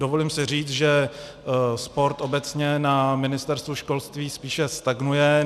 Dovolím si říct, že sport obecně na Ministerstvu školství spíše stagnuje.